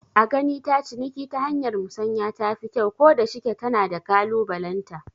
A gani ta ciniki ta hanyar musanya tafi kyau, ko da shike tana da kalubalenta